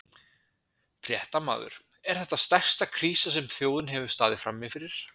Fréttamaður: Er þetta stærsta krísa sem að þjóðin hefur staðið frammi fyrir?